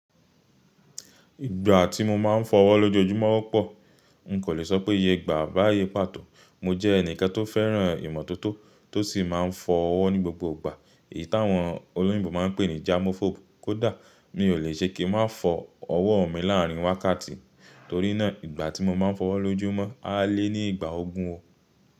Ìgbà tí mo máa ń fọ́ ọwọ́ lójoójúmọ́ o pọ̀. N kò lè sọ pé iye gbà à bá iye pàtó. Mo jẹ́ ẹnìkan tó fẹ́ràn ìmọ́tótó tó sì máa ń fọ ọwọ́ ní gbogbo ìgbà èyí táwọn olóyìnbo máa ń pè ní germaphobe. Kódà mi ò lè ṣe kí n máa fọ ọwọ́ mi láàrin wákàtí, torí náà ìgbà tí mo máa ń fọ ọwọ́ lójúmọ́ á lé ní ìgbà ogún o.